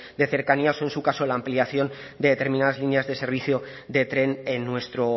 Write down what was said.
de cercanías o en su caso la ampliación de determinadas líneas de servicio de tren en nuestro